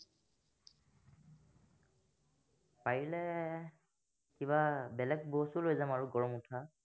পাৰিলে কিবা বেলেগ বস্তু লৈ যাম আৰু গৰম উঠা